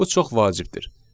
Bu çox vacibdir.